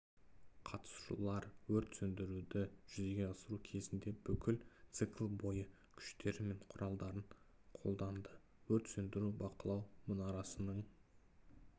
қатысушылар өрт сөндіруді жүзеге асыру кезінде бүкіл цикл бойы күштері мен құралдарын қолданды өрт сөндіру-бақылау мұнарасының